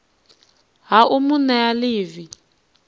ha u mu nea ḽivi